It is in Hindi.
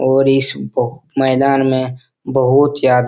और इस ब मैदान में बहुत ज्यादा --